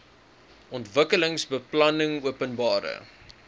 ontwikkelingsbeplanningopenbare